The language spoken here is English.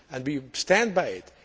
And we stand by